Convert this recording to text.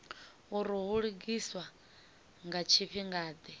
uri hu lugiswa nga tshifhingade